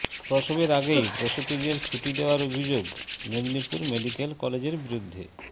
প্রসবের আগেই প্রসূতিদের ছুটি দেওয়ার অভিযোগ মেদিনীপুর মেডিক্যাল কলেজের বিরুদ্ধে